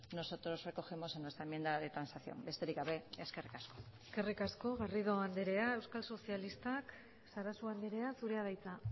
nosotros recogemos en nuestra enmienda de transacción besterik gabe eskerrik asko eskerrik asko garrido andrea euskal sozialistak sarasua andrea zurea da hitza